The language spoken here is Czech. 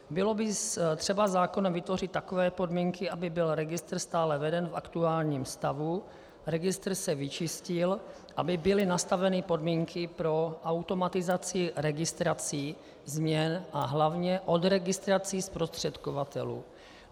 Bylo by třeba zákonem vytvořit takové podmínky, aby byl registr stále veden v aktuálním stavu, registr se vyčistil, aby byly nastaveny podmínky pro automatizaci registrací, změn a hlavně odregistrací zprostředkovatelů.